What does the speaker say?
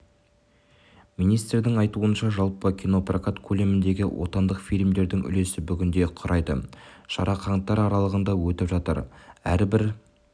министрдің айтуынша жалпы кинопрокат көлеміндегі отандық фильмдердің үлесі бүгінде құрайды шара қаңтар аралығында өтіп жатыр әрбір